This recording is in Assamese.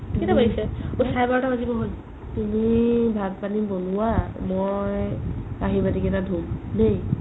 কেইটা বাজিছে ? ঐ চাৰে বাৰতা বাজিব হ'ল তুমি ভাত পানি বনোৱা মই কাহি বাতি কেইটা ধুম দেই